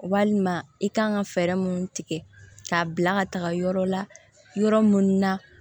Walima i kan ka fɛɛrɛ minnu tigɛ k'a bila ka taga yɔrɔ la yɔrɔ mun na